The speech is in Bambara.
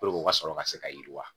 Puruke u ka sɔrɔ ka se ka yiriwa.